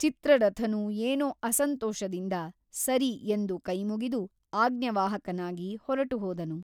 ಚಿತ್ರರಥನೂ ಏನೋ ಅಸಂತೋಷದಿಂದ ಸರಿ ಎಂದು ಕೈಮುಗಿದು ಆಜ್ಞವಾಹಕನಾಗಿ ಹೊರಟುಹೋದನು.